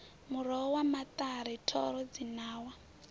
muroho wa maṱari thoro dzinawa